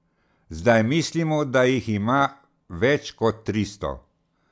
Zdaj mislimo, da jih ima več kot tristo.